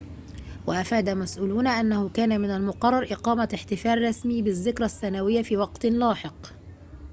وأفاد مسؤولون أنه كان من المقرر إقامة احتفال رسمي بالذكرى السنوية في وقتٍ لاحق